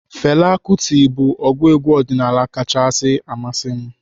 Fela Kuti bụ ọgụ egwu ọdịnaala kachasi masị m.